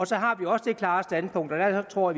så har vi også det klare standpunkt og der tror